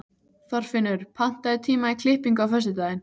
Þorfinnur, pantaðu tíma í klippingu á föstudaginn.